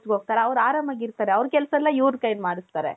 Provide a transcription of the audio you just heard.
ಹೋಗ್ತಾರೆ ಅವರು ಆರಾಮಾಗಿ ಇರ್ತಾರೆ. ಅವರ ಕೆಲಸ ಎಲ್ಲಾ ಇವರ ಕೈಲಿ ಮಾಡುಸ್ತಾರೆ.